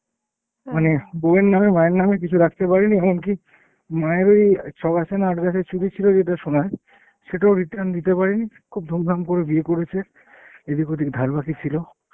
মানে বৌয়ের নামে মায়ের নামে কিছু রাখতে পারেনি, এমনকি মায়ের ওই ছ'গাছা না আট গাছা চুড়ি ছিল যেটা সোনার সেটাও return নিতে পারেনি। খুব ধুমধাম করে বিয়ে করেছে। এদিক ওদিক ধারাবাকি ছিল।